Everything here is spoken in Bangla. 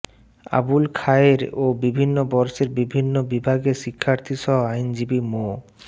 আবুল খায়ের ও বিভিন্ন বর্ষের বিভিন্ন বিভাগের শিক্ষার্থীসহ আইনজীবী মো